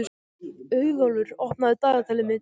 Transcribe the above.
Auðólfur, opnaðu dagatalið mitt.